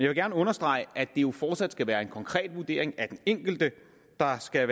vil gerne understrege at det jo fortsat skal være en konkret vurdering af den enkelte der skal